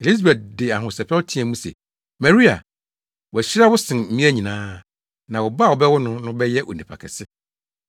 Elisabet de ahosɛpɛw teɛɛ mu se, “Maria, wɔahyira wo sen mmea nyinaa, na wo ba a wobɛwo no no bɛyɛ onipa kɛse.